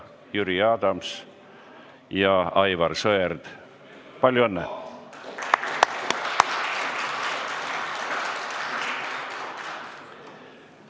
Jüri Adams ja Aivar Sõerd, palju õnne!